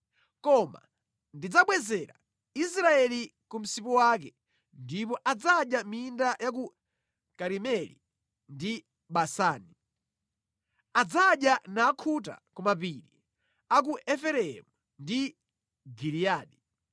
Koma ndidzabwezera Israeli ku msipu wake ndipo adzadya mʼminda ya ku Karimeli ndi Basani; adzadya nakhuta ku mapiri a ku Efereimu ndi Giliyadi.